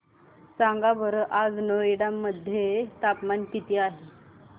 सांगा बरं आज नोएडा मध्ये तापमान किती आहे